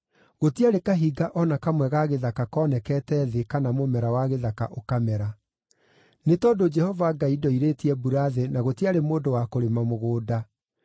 gũtiarĩ kahinga o na kamwe ga gĩthaka koonekete thĩ kana mũmera wa gĩthaka ũkamera. Nĩ tondũ Jehova Ngai ndoirĩtie mbura thĩ na gũtiarĩ mũndũ wa kũrĩma mũgũnda,